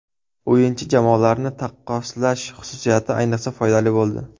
O‘yinchi/jamoalarni taqqoslash xususiyati ayniqsa foydali bo‘ldi.